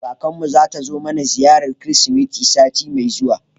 Kakar mu zata zo mana ziyarar Kirsimeti sati mai zuwa.